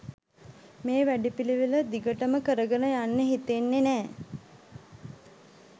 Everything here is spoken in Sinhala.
මේ වැඩපිළිවෙල දිගටම කරගෙන යන්න හිතෙන්නෙ නෑ